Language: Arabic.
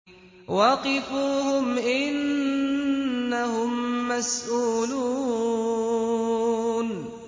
وَقِفُوهُمْ ۖ إِنَّهُم مَّسْئُولُونَ